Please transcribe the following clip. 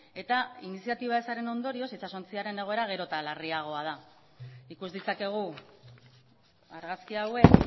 eta iniziatiba ezaren ondorioz itsasontziaren egoera gero eta larriagoa da ikus ditzakegu argazki hauek